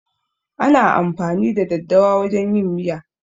Ana amfani da daddawa wajen yin miya.